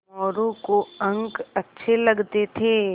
मोरू को अंक अच्छे लगते थे